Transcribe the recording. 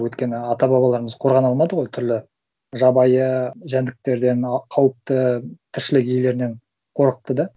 өйткені ата бабаларымыз қорғана алмады ғой түрлі жабайы жәндіктерден а қауіпті тіршілік иелерінен қорықты да